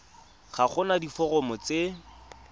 ga go na diforomo tse